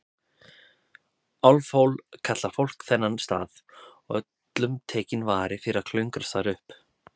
Álfhól kallar fólk þennan stað, og öllum tekinn vari fyrir að klöngrast þar upp.